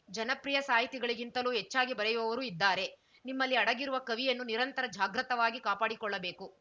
ಜನಪ್ರಿಯ ಸಾಹಿತಿಗಳಿಗಿಂತಲೂ ಚೆನ್ನಾಗಿ ಬರೆಯುವವರೂ ಇದ್ದಾರೆ ನಿಮ್ಮಲ್ಲಿ ಅಡಗಿರುವ ಕವಿಯನ್ನು ನಿರಂತರ ಜಾಗ್ರತವಾಗಿ ಕಾಪಾಡಿಕೊಳ್ಳಬೇಕು